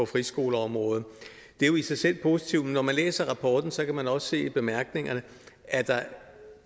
friskoleområdet det er jo i sig selv positivt men når man læser rapporten kan man også se i bemærkningerne at der